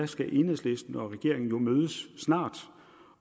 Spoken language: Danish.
skal enhedslisten og regeringen jo snart mødes